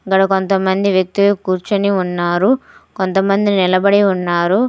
గాడ కొంతమంది వ్యక్తులు కూర్చొని ఉన్నారు. కొంతమంది నిలబడి ఉన్నారు.